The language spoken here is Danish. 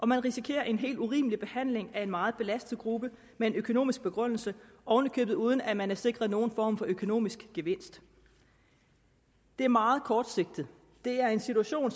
man risikerer en helt urimelig behandling af en meget belastet gruppe med en økonomisk begrundelse oven i købet uden at man er sikret nogen form for økonomisk gevinst det er meget kortsigtet det er en situation